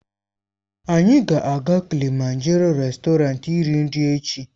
Anyị ga-aga Kilịmanjaroo réstọranti iri nri echi.